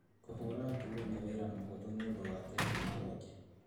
Kũhũũra nguo nĩ wĩra mũhũthũ nĩũndũ wa tekinoronjĩ